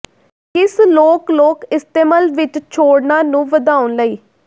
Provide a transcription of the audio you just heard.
ਕਿਸ ਲੋਕ ਲੋਕ ਇਸਤੇਮਲ ਵਿਚ ਛੋਡ਼ਨਾ ਨੂੰ ਵਧਾਉਣ ਲਈ